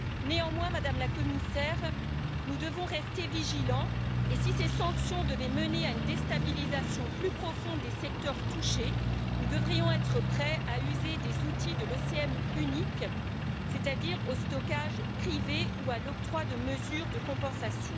Néanmoins, Madame la Commissaire, nous devons rester vigilants, et si ces sanctions devaient mener à une déstabilisation plus profonde des secteurs touchés, nous devrions être prêts à user des outils de l'OCM uniques, c'est à dire au stockage privé ou à l'octroi de mesures de compensation.